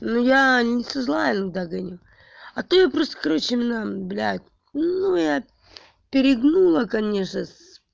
ну я не со зла я догоню а то я просто короче блядь ну я перегнула конечно